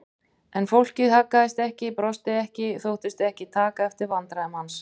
En fólkið haggaðist ekki, brosti ekki, þóttist ekki taka eftir vandræðum hans.